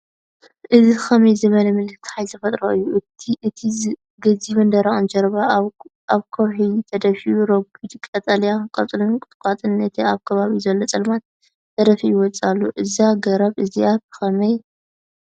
እዚ ከመይ ዝበለ ምልክት ሓይሊ ተፈጥሮ እዩ! እቲ ገዚፍን ደረቕን ጅርባ ኣብ ከውሒ ተደፊኡ፡ ረጒድ ቀጠልያ ቆጽልን ቁጥቋጥን ነቲ ኣብ ከባቢኡ ዘሎ ጸልማት ደፊኡ ይወጽእ ኣሎ። እዛ ገረብ እዚኣ ብኸመይ ወደቐት፧